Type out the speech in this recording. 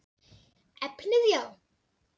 Efnið já?